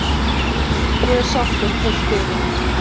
Ég er sáttur heilt yfir.